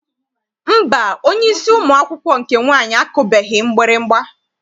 Mba, onyeisi ụmụ akwụkwọ nke nwaanyị akụbeghị mgbịrịgba.